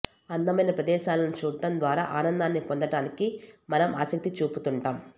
అందమైన ప్రదేశాలను చూడటం ద్వారా ఆనందాన్ని పొందటానికి మనం ఆసక్తి చూపుతుంటాం